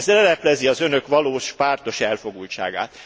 Ez leleplezi az Önök valós, pártos elfogultságát.